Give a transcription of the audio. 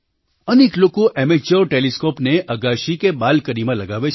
અનેક લોકો એમેચ્યોર ટેલિસ્કૉપને અગાશી કે બાલ્કનીમાં લગાવે છે